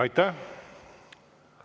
Aitäh!